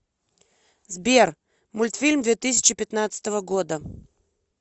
сбер мультфильм две тысячи пятнадцатого года